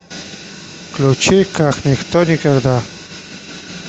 включи какниктоникогда